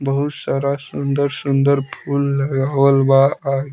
बहुत सारा सुंदर-सुंदर फूल लगावल बा और --